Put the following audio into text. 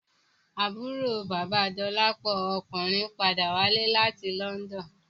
Àbúrò bàba Dolapo ọkùnrin padà wálé láti London